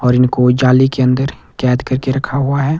और इनको जाली के अंदर कैद करके रखा हुआ है।